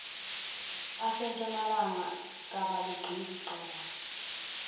asentshonalanga kabaligqizi qakala